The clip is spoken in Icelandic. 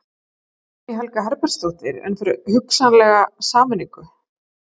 Guðný Helga Herbertsdóttir: En fyrir hugsanlega sameiningu?